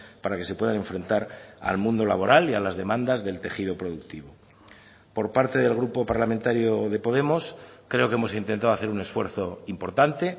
para que se puedan enfrentar al mundo laboral y a las demandas del tejido productivo por parte del grupo parlamentario de podemos creo que hemos intentado hacer un esfuerzo importante